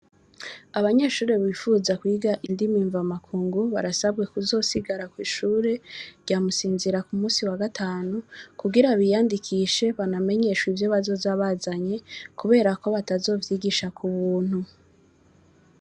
Abanyeshuri bifuza kwiga indimi mva makungu barasabwe ku zosigara kw'ishuri rya Musinzira ku musi wa gatanu kugira biyandikishe banamenyeshwe ivyo bazoza bazanye kuberako batazovyigishwa ku buntu.